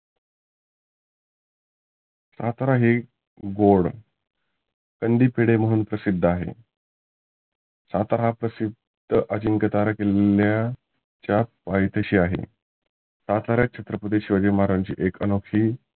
सातारा हे गोड कंदी पेढे म्हणून प्रसिद्ध आहे. सातारा हा प्रसिद्ध अजिंक्यतारा किल्ल्याच्या पायथ्याशी आहे. सातारा छत्रपती शिवाजी महाराज्यांची एक अनोखी